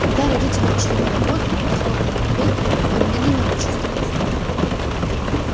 когда родители ушли на работу когда хлопнула дверь он медленно почувствовал страх